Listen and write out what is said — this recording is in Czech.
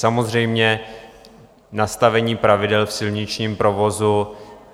Samozřejmě nastavení pravidel v silničním provozu...